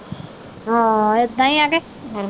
ਹਾਂ ਏਦਾਂ ਈ ਆ ਤੇ।